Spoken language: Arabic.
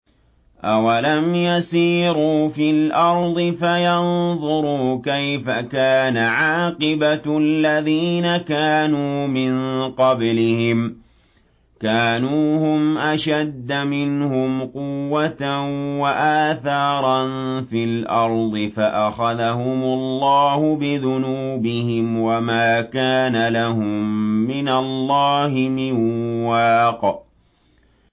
۞ أَوَلَمْ يَسِيرُوا فِي الْأَرْضِ فَيَنظُرُوا كَيْفَ كَانَ عَاقِبَةُ الَّذِينَ كَانُوا مِن قَبْلِهِمْ ۚ كَانُوا هُمْ أَشَدَّ مِنْهُمْ قُوَّةً وَآثَارًا فِي الْأَرْضِ فَأَخَذَهُمُ اللَّهُ بِذُنُوبِهِمْ وَمَا كَانَ لَهُم مِّنَ اللَّهِ مِن وَاقٍ